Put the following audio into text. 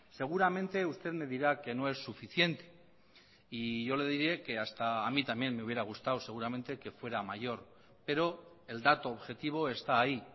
seguramente usted me dirá que no es suficiente y yo le diré que hasta a mí también me hubiera gustado seguramente que fuera mayor pero el dato objetivo está ahí